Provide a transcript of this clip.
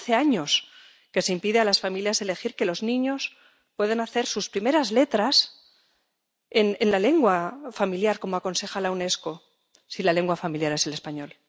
Hace años que se impide a las familias elegir que los niños puedan hacer sus primeras letras en la lengua familiar —como aconseja la Unesco—, si la lengua familiar es el español.